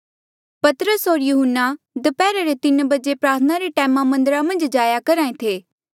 पतरस होर यहून्ना दप्हैरा रे तीन बजे प्रार्थना रे टैमा मन्दरा मन्झ जाया करहा ऐें थे